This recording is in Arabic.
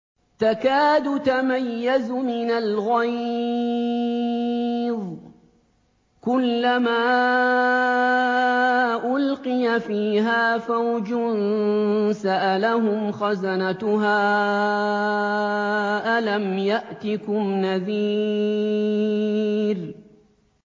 تَكَادُ تَمَيَّزُ مِنَ الْغَيْظِ ۖ كُلَّمَا أُلْقِيَ فِيهَا فَوْجٌ سَأَلَهُمْ خَزَنَتُهَا أَلَمْ يَأْتِكُمْ نَذِيرٌ